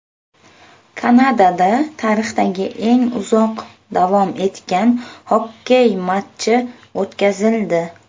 Kanadada tarixdagi eng uzoq davom etgan xokkey matchi o‘tkazildi.